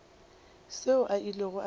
seo a ilego a se